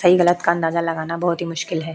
सही गलत का अंदाजा लगाना बहुत ही मुश्किल है।